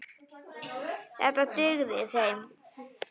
Þetta dugði þeim.